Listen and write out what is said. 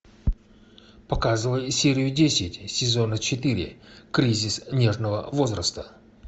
показывай серию десять сезона четыре кризис нежного возраста